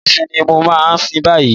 Ọ̀ṣun ni mo máa sìn báyìí.